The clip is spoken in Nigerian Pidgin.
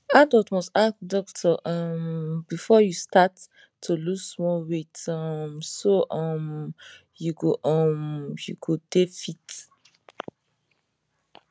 adult must ask doctor um before you start to lose small weight um so um you go um you go dey fit